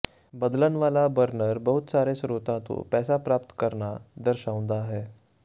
ਬਦਲਣ ਵਾਲਾ ਬਰਨਰ ਬਹੁਤ ਸਾਰੇ ਸਰੋਤਾਂ ਤੋਂ ਪੈਸਾ ਪ੍ਰਾਪਤ ਕਰਨਾ ਦਰਸਾਉਂਦਾ ਹੈ